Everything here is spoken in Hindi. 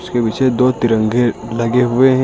इसके पीछे दो तिरंगे लगे हुए हैं।